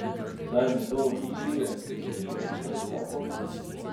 Da je njegovo nasilje uničilo najin zakon.